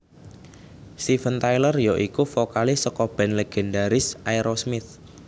Steven Tyler ya iku vokalis saka band légendharis Aerosmith